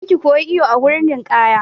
Je ka koyi iwo a wurin ninkaya!